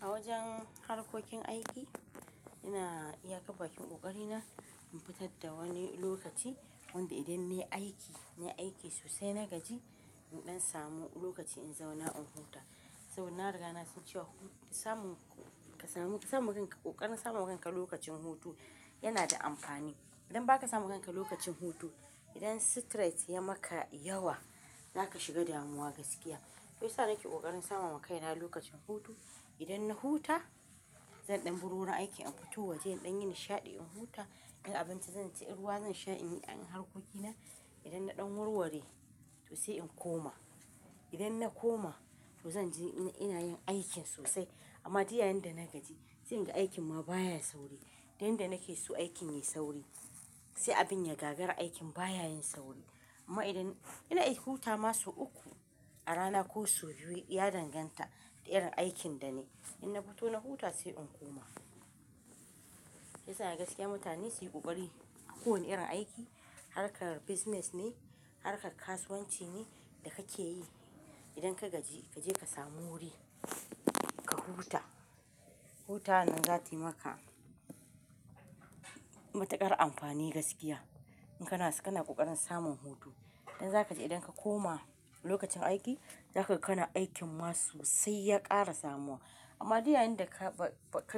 A wajen harkokin aiki, ina iyakar ɓakin ƙoƙari na in fitar da wani lokaci wanda idan na yi aiki, na yi aiki sosai na gaji, in ɗan samu lokaci in zauna in huta. Saboda na riga na san cewa samun, kasamun, samun kanka ƙoƙarin samun kanka lokacin hutu yana da amfani. Idan ba ka samu kanka lokacin hutu, idan stress ya maka yawa, za ka shiga damuwa gaskiya. Shiyasa nake ƙoƙarin sama wa kaina lokacin hutu. Idan na huta, zan ɗan baro aiki in fito waje in ɗan yi nishaɗi in huta, in abinci zan ci, in ruwa zan sha, in yi an harkoki na. Idan na ɗan wurware to sai in koma. Idan na koma, to zan ji ina yin aikin sosai. Amma duk yayinda na gaji, sai in ga aikin ma baya yin sauri. Duk yanda nake so aikin yayi sauri, sai abin ya gagar aikin baya yin sauri. Amma idan ina aikin huta ma sau uku a rana ko sau biyu ya danganta da irin aikin da nayi. In na fito na huta sai in koma. Ya sa naga gaskiya mutane su yi ƙoƙari a kowane irin aiki, harkar business ne, harkar kasuwanci ne da kake yi. Idan ka gaji, ka je ka samu wuri ka huta. Wutawar nan zata yi maka matukar amfani gaskiya. In kana, kana ƙoƙarin samun hutu. In zaka ji idan ka koma lokacin aiki, zaka ga kana aikin ma sosai ya ƙara samuwa. Amma duk yayinda ka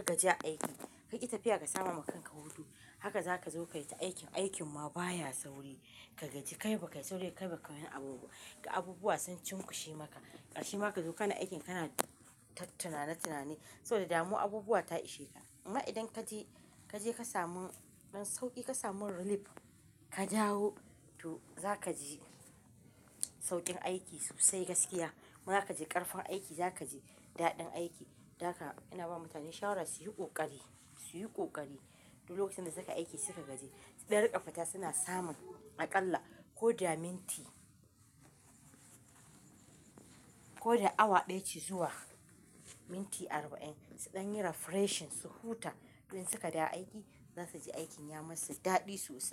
gaji a aiki kaki tafiya ka samawa kanka hutu, aka zakaji kayita aiki, aikin ma baya sauri ka gaji kai ba kayi sauri ba, kai ba ka yi wani abubuwa ba. Ga abubuwa sun cimkushi maka, kasrshe ma kazo kana aikin kana ta tunane tunane. So da damuwa abubuwa ta ishe ka. Amma idan kaje, kaje ka samu ɗan sauƙi ka samu relief, ka dawo to zaka ji sauƙin aiki sosai gaskiya. Zaka ji karfin aiki, zaka ji dadin aiki. Don aka ina bawa mutane shawara, suyi kokari, suyi kokari, duk lokacin da sukayi aiki suka gaji, sudan rinka fita suna samun akalla koda minti ko da awa ɗaya ce zuwa minti arba'in su ɗan yi refreshing su huta. In suka dawo aiki za su ji aikin ya masu daɗi sosai.